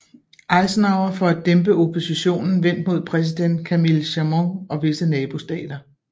Eisenhower for at dæmpe oppositionen vendt mod præsident Camille Chamoun og visse nabostater